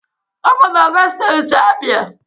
Aga m aga steeti Abia.